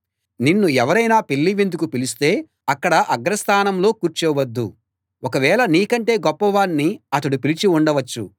నిన్ను ఎవరైనా పెళ్ళి విందుకు పిలిస్తే అక్కడ అగ్ర స్థానంలో కూర్చోవద్దు ఒకవేళ నీకంటే గొప్పవాణ్ణి అతడు పిలిచి ఉండవచ్చు